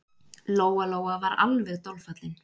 Lóa-Lóa var alveg dolfallin.